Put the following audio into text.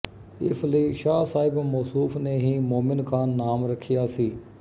ਇਸ ਲਈ ਸ਼ਾਹ ਸਾਹਿਬ ਮੌਸੂਫ਼ ਨੇ ਹੀ ਮੋਮਿਨ ਖ਼ਾਂ ਨਾਮ ਰੱਖਿਆ ਸੀ